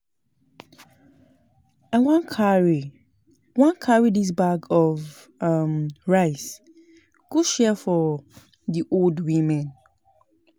I wan carry wan carry dis bag of um rice go share for di old women.